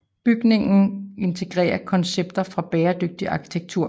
Bygningen integrerer koncepter fra bæredygtig arkitektur